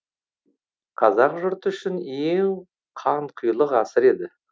қазақ жұрты үшін ең қанқұйлы ғасыр еді